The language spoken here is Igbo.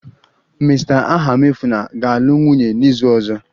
Mr. Ahamefula ga-alụ nwunye n'izu ọzọ